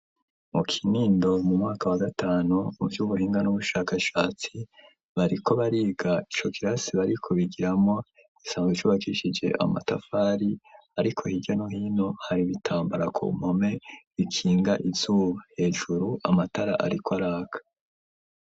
Mu kinindo, mu mwaka wa gatanu, mu vy'ubuhinga, n'ubushakashatsi, bariko bariga; ico kirasi, bariko bigiramwo, gisanzwe cubakishije amatafari, ariko hirya no hino, hari ibitambara ku mpome, bikinga izuba; hejuru, amatara ariko araka.